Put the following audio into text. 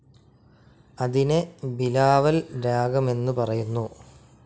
അതിനെ ബിലാവൽ രാഗമെന്നു പറയുന്നു.